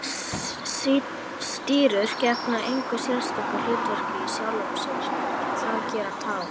Stírur gegna engu sérstöku hlutverki í sjálfu sér en það gera tár.